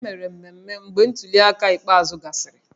E mere mmemmé mgbe ntuli aka ikpeazụ gasịrị